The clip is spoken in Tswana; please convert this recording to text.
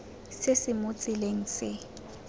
se se mo tseleng se